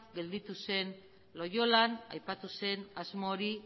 gelditu zen loiolan aipatu zen asmo hori